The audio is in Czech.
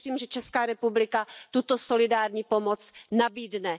Já věřím, že Česká republika tuto solidární pomoc nabídne.